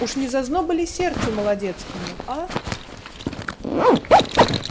уж не зазноба ли сердцу молодецкому а